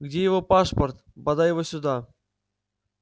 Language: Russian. где его пашпорт подай его сюда